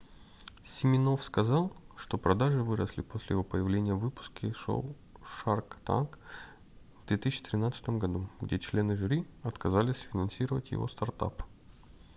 симинофф сказал что продажи выросли после его появления в выпуске шоу shark tank в 2013 году где члены жюри отказались финансировать его стартап